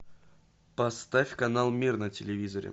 поставь канал мир на телевизоре